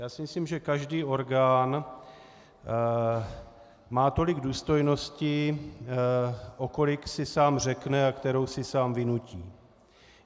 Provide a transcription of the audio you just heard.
Já si myslím, že každý orgán má tolik důstojnosti, o kolik si sám řekne a kterou si sám vynutí.